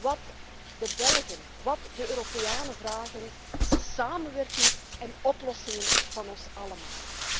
Wat de Belgen én de Europeanen vragen is samenwerking en oplossingen van ons allemaal.